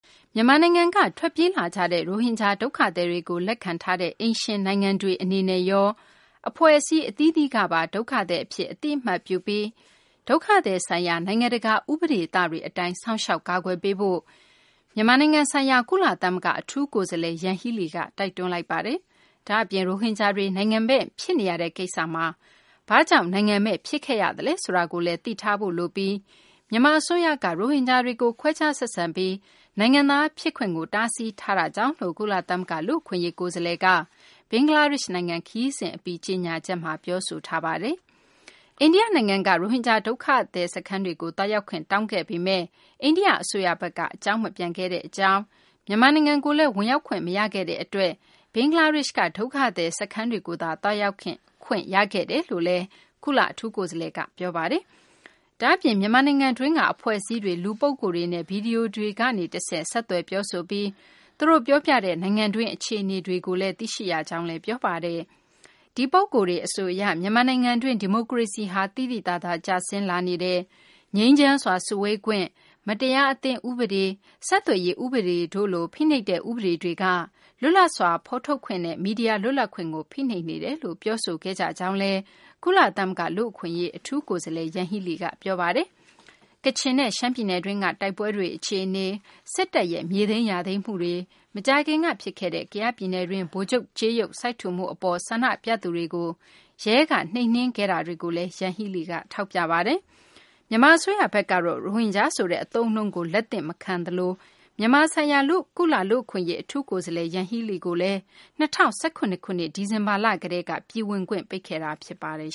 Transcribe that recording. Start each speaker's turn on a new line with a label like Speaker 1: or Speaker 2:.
Speaker 1: မြန်မာနိုင်ငံက ထွက်ပြေးလာကြတဲ့ ရိုဟင်ဂျာ ဒုက္ခသည်တွေကို လက်ခံထားတဲ့ အိမ်ရှင်နိုင်ငံတွေ အနေနဲ့ရော အဖွဲ့အစည်း အသီးသီးကပါ ဒုက္ခသည်အဖြစ် အသိအမှတ်ပြုပြီး၊ ဒုက္ခသည်ဆိုင်ရာ နိုင်ငံတကာ ဥပဒေသတွေအတိုင်း စောင့်ရှောက်ကာကွယ်ပေးဖို့ မြန်မာနိုင်ငံဆိုင်ရာ ကုလသမဂ္ဂ အထူးကိုယ်စားလှယ် ယန်ဟီးလီက တိုက်တွန်းလိုက်ပါတယ်။ ဒါ့အပြင် ရိုဟင်ဂျာတွေ နိုင်ငံမဲ့ ဖြစ်နေရတဲ့ ကိစ္စမှာ ဘာကြောင့် နိုင်ငံမဲ့ ဖြစ်ခဲ့ရသလဲ ဆိုတာကိုလည်း သိထားဖို့ လိုပြီး၊ မြန်မာ အစိုးရက ရိုဟင်ဂျာတွေကို ခွဲခြားဆက်ဆံပြီး နိုင်ငံသား ဖြစ်ခွင့်ကို တားဆီးထားတာကြောင့်လို့ ကုလသမဂ္ဂ လူ့အခွင့်အရေး ကိုယ်စားလှယ်က ဘင်္ဂလားဒေရှ့်နိုင်ငံ ခရီးစဉ် အပြီး ကြေညာချက်မှာ ပြောဆိုထားတာပါ။ အိန္ဒိယ နိုင်ငံက ရိုဟင်ဂျာ ဒုက္ခသည် စခန်းတွေကို သွားရောက်ခွင့် တောင်းခဲ့ပေမယ့် အိန္ဒိယ အစိုးရဘက်က အကြောင်းမပြန်ခဲ့ကြောင်း၊ မြန်မာနိုင်ငံကိုလည်း ဝင်ရောက်ခွင့် မရခဲ့တဲ့ အတွက် ဘင်္ဂလားဒေရှ့်က ဒုက္ခသည် စခန်းတွေကိုသာ သွားရောက်ခွင့် ရခဲ့ကြောင်းလည်း ကုလ အထူးကိုယ်စားလှယ်က ပြောပါတယ်။ ဒါပေမယ့် မြန်မာနိုင်ငံတွင်းက အဖွဲ့အစည်းတွေ လူပုဂ္ဂိုလ်တွေနဲ့ ဗွီဒီယိုကနေ တဆင့် ဆက်သွယ် ပြောဆိုပြီး သူတို့ ပြောပြတဲ့ နိုင်ငံတွင်း အခြေအနေတွေကို သိရှိရကြောင်းလည်း ပြောပါတယ်။ ဒီပုဂ္ဂိုလ်တွေ အဆိုအရ မြန်မာနိုင်ငံတွင်း ဒီမိုကရေစီဟာ သိသိသာသာ ကျဆင်းလာနေတယ်၊ ငြိမ်းချမ်းစွာ စုဝေးခွင့်၊ မတရားအသင်း ဥပဒေ၊ ဆက်သွယ်ရေး ဥပဒေတို့လို ဖိနှိပ်တဲ့ ဥပဒေတွေက လွတ်လပ်စွာ ဖော်ထုတ်ခွင့်နဲ့ မီဒီယာ လွတ်လပ်ခွင့်ကို ဖိနှိပ်နေကြောင်း ပြောဆိုခဲ့ကြတယ်လို့လည်း ကုလသမဂ္ဂ လူ့အခွင့်အရေး အထူးကိုယ်စားလှယ် ယန်ဟီးလီက ပြောဆိုခဲ့ပါတယ်။ ကချင်နဲ့ ရှမ်းပြည်နယ်တွင်းက တိုက်ပွဲတွေ အခြေအနေ၊ စစ်တပ်ရဲ့ မြေသိမ်းယာသိမ်းမှုတွေ၊ မကြာခင်က ဖြစ်ခဲ့တဲ့ ကယားပြည်နယ်တွင်း ဗိုလ်ချုပ်ကြေးရုပ် စိုက်ထူမှု အပေါ် ဆန္ဒပြသူတွေကို ရဲက နှိမ်နှင်းခဲ့တာတွေကိုလည်း ယန်ဟီးလီက ထောက်ပြခဲ့ပါတယ်။ မြန်မာ အစိုးရဘက်ကတော့ ရိုဟင်ဂျာ ဆိုတဲ့ အသုံးအနှုန်းကို လက်သင့်ခံမထားသလို မြန်မာ ဆိုင်ရာ ကုလလူ့အခွင့်အရေး အထူးကိုယ်စားလှယ် ယန်ဟီးလီကို ၂၀၁၇ ခုနှစ် ဒီဇင်ဘာလ ကတည်းက ပြည်ဝင်ခွင့် ပိတ်ထားတာ ဖြစ်ပါတယ်